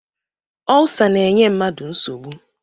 Ulsa na-enye mmadụ nsogbu